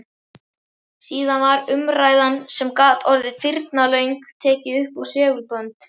Síðan var umræðan, sem gat orðið firnalöng, tekin uppá segulbönd.